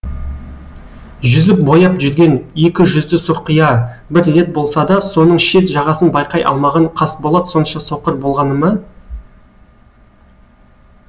жүзіп бояп жүрген екі жүзді сұрқия бір рет болса да соның шет жағасын байқай алмаған қасболат сонша соқыр болғаны ма